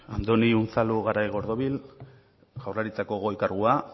andoni unzalu garaigordibil jaurlaritzako goi kargua